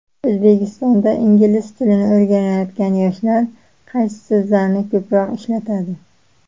O‘zbekistonda ingliz tilini o‘rganayotgan yoshlar qaysi so‘zlarni ko‘proq ishlatadi?.